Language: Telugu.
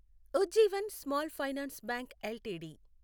Ujjivan small finance bank LTD